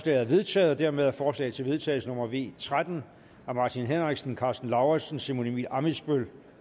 er vedtaget dermed er forslag til vedtagelse nummer v tretten af martin henriksen karsten lauritzen simon emil ammitzbøll